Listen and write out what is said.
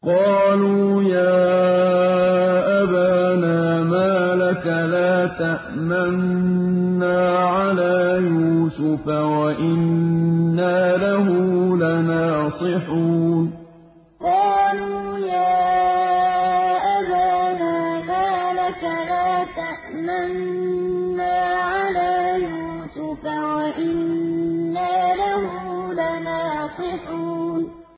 قَالُوا يَا أَبَانَا مَا لَكَ لَا تَأْمَنَّا عَلَىٰ يُوسُفَ وَإِنَّا لَهُ لَنَاصِحُونَ قَالُوا يَا أَبَانَا مَا لَكَ لَا تَأْمَنَّا عَلَىٰ يُوسُفَ وَإِنَّا لَهُ لَنَاصِحُونَ